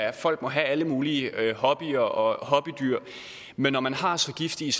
at folk må have alle mulige hobbyer og hobbydyr men når man har så giftige